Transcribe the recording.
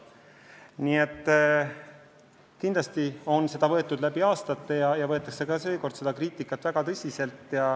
Kindlasti on tehtud kriitikat varem väga tõsiselt võetud ja võetakse ka seekord.